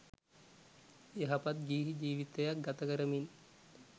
යහපත් ගිහි ජීවිතයක් ගතකරමින්